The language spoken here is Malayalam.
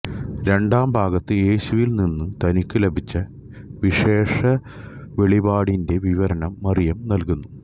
രണ്ടാം ഭാഗത്ത് യേശുവിൽ നിന്നു തനിക്കു ലഭിച്ച വിശേഷവെളിപാടിന്റെ വിവരണം മറിയം നൽകുന്നു